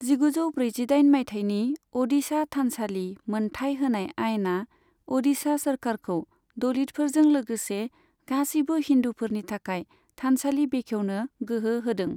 जिगुजौ ब्रैजिदाइन मायथाइनि अडिशा थानसालि मोनथाय होनाय आइना अडिशा सोरखारखौ दलितफोरजों लोगोसे गासैबो हिन्दुफोरनि थाखाय थानसालि बेखेवनो गोहो होदों।